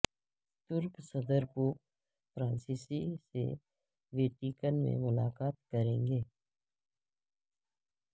ترک صدر Pope Francis سے ویٹیکن میں ملاقات کریں گے